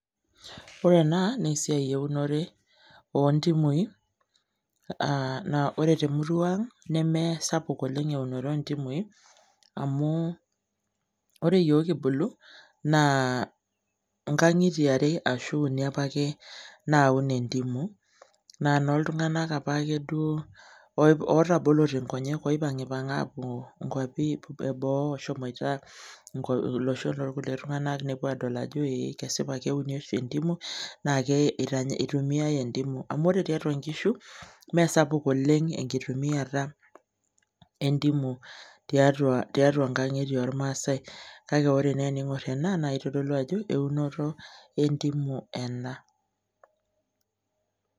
Ore ena, nesiai eunore ontimui, ore temurua ang, nemesapuk oleng eunore ontimui, amu ore yiok kibulu, naa inkang'itie are ashu uni apake naun entimu. Na noltung'anak apake duo otabolote nkonyek oipang'ipang'a apuo nkwapi eboo eshomoita olosho lorkulie tung'anak nepuo adol ajo ee kesipa keuni oshi ntimu, nake itumiai entimu amu ore tiatua nkishu, mesapuk oleng enkitumiata entimu tiatua nkang'itie ormaasai, kake ore naa ening'or ena na kitodolu ajo eunoto entimu ena.